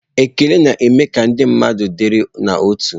Ekele na-eme ka ndị mmadụ dịrị n'otu.